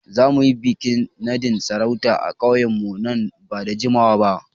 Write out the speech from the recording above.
Za mu yi bikin nadin sarauta a ƙauyenmu nan ba da jimawa ba.